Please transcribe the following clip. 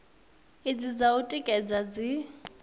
idzi dza u tikedza dzi